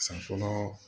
San fɔlɔɔ